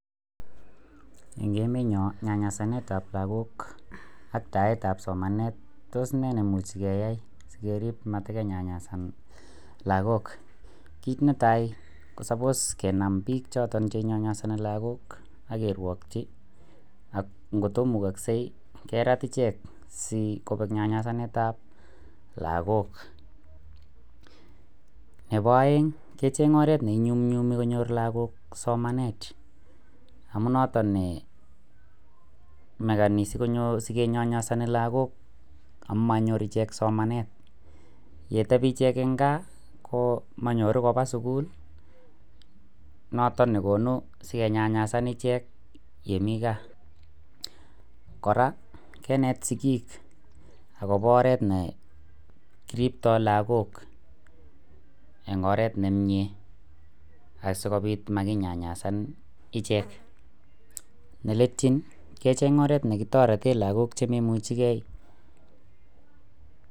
Eng emenyoo nyanyasanet ap lakok ak taet ap somanet tos neenekeyoe sikeriip maatkenyanyasan lakok kiit netai komakat kenam piik chotok inyonyosoniilakok akerrwokchii akkotkomukoksei keraat icheek asikopek nyanyasanet ap lakok neboeng kecheng oret neinyumnyumii konyorr lakok somanet amuu notok nee ngotepii eng kaakomanyotuu kopaa sukul notok nekonuu sekenyanyasan icheek yemii kaa koraa kiinet sikik oret nekirptoi lakok eng oret nemiyee